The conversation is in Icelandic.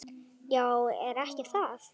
"""Já, er ekki það?"""